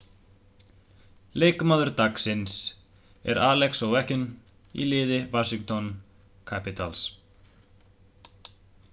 leikmaður dagsins er alex ovechkin í liði washington capitals